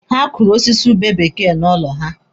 Ha kụrụ osisi ube bekee n'ụlọ ha.